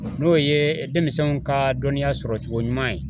N'o ye denmisɛnw ka dɔnniya sɔrɔcogo ɲuman ye